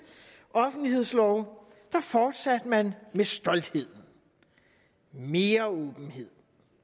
offentlighedslov fortsatte man med stolthed mere åbenhed